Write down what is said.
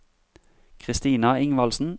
Kristina Ingvaldsen